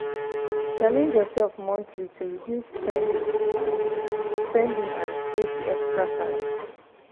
challenge yourself monthly to reduce spending and spending and save the extra cash.